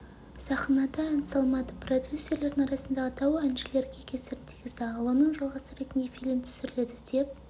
сахнада ән салмады продюсерлердің арасындағы дау әншілерге кесірін тигізді аллоның жалғасы ретінде фильм түсіріледі деп